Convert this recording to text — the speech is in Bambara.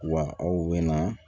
Wa aw bɛ na